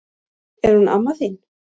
Er hún amma þín?